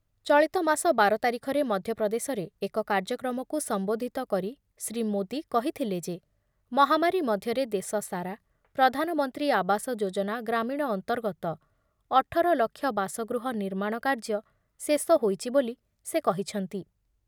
ଚଳିତମାସ ବାର ତାରିଖରେ ମଧ୍ୟପ୍ରଦେଶରେ ଏକ କାର୍ଯ୍ୟକ୍ରମକୁ ସମ୍ବୋଧିତ କରି ଶ୍ରୀଯୁକ୍ତ ମୋଦି କହିଥିଲେ ଯେ, ମହାମାରୀ ମଧ୍ୟରେ ଦେଶ ସାରା ପ୍ରଧାନମନ୍ତ୍ରୀ ଆବାସ ଯୋଜନା ଗ୍ରାମୀଣ ଅନ୍ତର୍ଗତ ଅଠର ଲକ୍ଷ ବାସଗୃହ ନିର୍ମାଣ କାର୍ଯ୍ୟ ଶେଷ ହୋଇଛି ବୋଲି ସେ କହିଛନ୍ତି ।